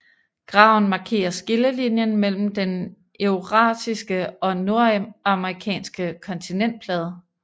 Graven markerer skillelinjen mellem den eurasiske og nordamerikanske kontinentalplade